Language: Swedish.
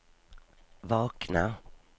vakna